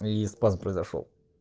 и спазм произошёл